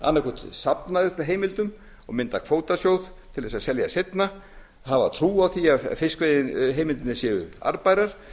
annaðhvort safna upp heimildum og mynda kvótasjóð til að selja seinna hafa trú á því að fiskveiðiheimildirnar verði arðbærar